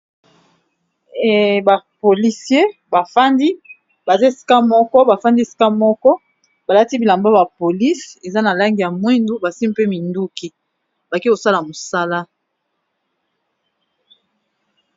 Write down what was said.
Ba policier bafandi baza esika moko, bafandi esika moko ba lati bilamba ba police eza na langi ya mwindu. Basimbi mpe minduki bake kosala mosala.